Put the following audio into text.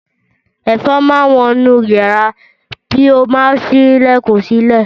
Ẹ̀fọn máa wọ inú yàrá bí o bá ṣí ilẹ̀kùn sílẹ̀